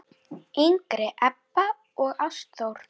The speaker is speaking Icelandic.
yngri Ebba og Ástþór.